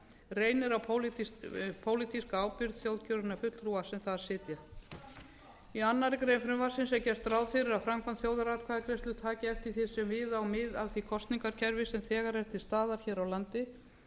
reynir á pólitíska ábyrgð þjóðkjörinna fulltrúa sem sem þar sitja í annarri grein frumvarpsins er gert ráð fyrir að framkvæmd þjóðaratkvæðagreiðslu taki eftir því sem við á mið af því kosningakerfi sem þegar er til staðar hér á landi